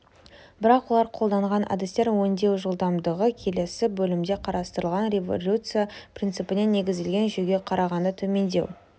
бірақ олар қолданған әдістер өңдеу жылдамдығы келесі бөлімде қарастырылған резолюция принципіне негізделген жүйеге қарағанда төмендеу